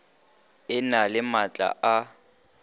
e na le maatla a